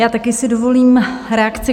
Já si taky dovolím reakci.